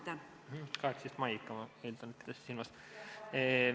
18. mail ikka, ma eeldan, te pidasite seda silmas.